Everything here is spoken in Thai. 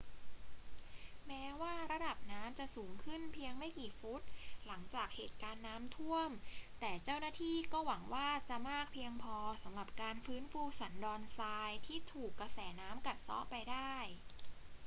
แม้ว่าระดับน้ำจะสูงขึ้นเพียงไม่กี่ฟุตหลังจากเหตุการณ์น้ำท่วม แต่เจ้าหน้าที่ก็หวังว่าจะมากเพียงพอสำหรับการฟื้นฟูสันดอนทรายที่ถูกกระแสน้ำกัดเซาะไปได้